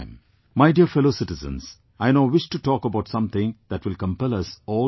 My dear fellow citizens, I now wish to talk about something that will compel us all to think